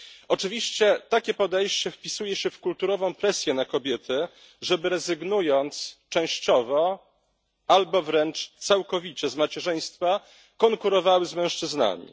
Oczywiście takie podejście wpisuje się w kulturową presję na kobiety, żeby rezygnując częściowo albo wręcz całkowicie z macierzyństwa, konkurowały z mężczyznami.